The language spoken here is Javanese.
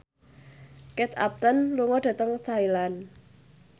Kate Upton lunga dhateng Thailand